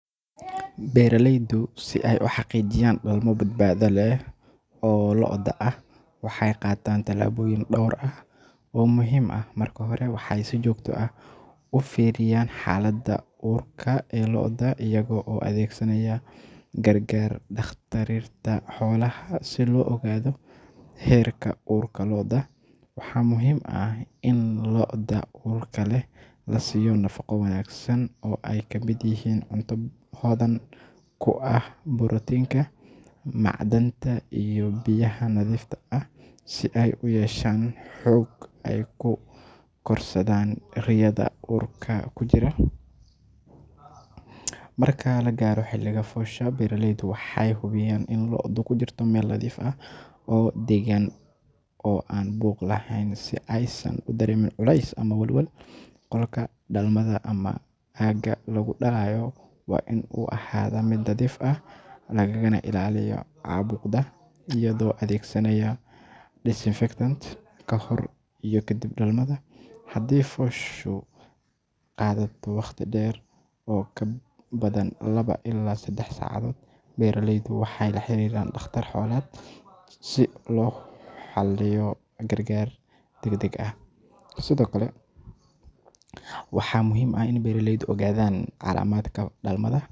Beeraleydu si ay u xaqijiyaan dalmo badbaada leeh o Looda ah waxay qatan talaboyin dhowr ah o muhim aah marka hore waxay si joogto ah ufiriyan xalada uurka e Lo'oda ayago adeegsanaya gargar daqtarinta xolaha si loogado heerka urka lo'oda waxa muhim aah in looda uurka leeh lasiyo nafaqa wanagsan obay kamid ayahin cuunta hodan kuaah Protinka, Maacdanta iyo biyaha nadhifta ah si ay u yeeeshan xoog ay kukorsdan Riayada uurka kujira. Marakb lagaaro xilyada foosha beraleydu waxay hubiyan in Loodu kujirta meel nadhif ah o dagan o an buuq laheyn si aysan u dreemin culeys badan koolka dalmada ama aga lagu dalaayo waa in u ahada meel nadhif ah lagagana ilaaliyo cubuuqa iya adhegsanya Disinfectants kahor iyo kadib dalmada hadi fooshu qadato waqti dher o kabadan labo ila sadax sacadood beraleydu waxay laxariran Daqatar xoleed si loo xaliyo gargar dagdag ah sido kale waxa muhim ah in beeraleydu ogadan qaramadka dalmada.